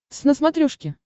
твз на смотрешке